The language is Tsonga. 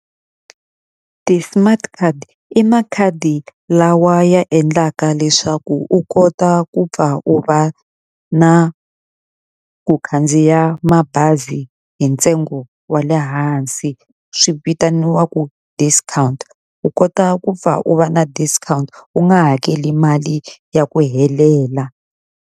Ti-smart card i makhadi lawa ya endlaka leswaku u kota ku pfa u va na ku khandziya mabazi hi ntsengo wa le hansi, swi vitaniwaku discount. U kota ku pfa u va na discount, u nga hakeli mali ya ku helela.